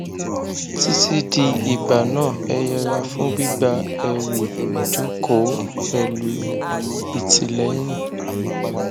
titi di ìgbà náà ẹ yẹra fún gbígba ẹrù jókòó pẹlú ìtìlẹyìn